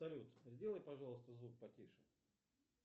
салют сделай пожалуйста звук потише